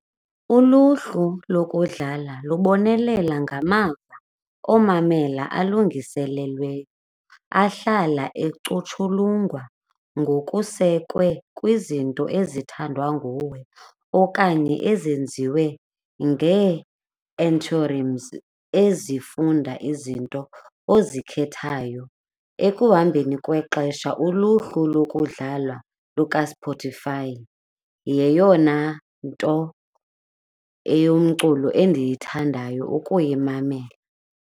Uluhlu lokudlala lubonelela ngamava omamelayo alungiselelweyo ahlala ecutshulungwa ngokusekwe kwizinto ezithandwa nguwe okanye ezenziwe ezifunda izinto ozikhethayo. Ekuhambeni kwexesha uluhlu lokudlala lukaSpotify yeyona nto eyomculo endiyithandayo ukuyimamela.